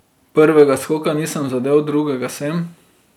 Prvega skoka nisem zadel, drugega sem.